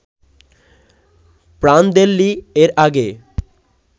Prandelli এর আগে